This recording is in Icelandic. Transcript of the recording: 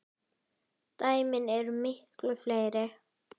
Dæmin eru miklu fleiri.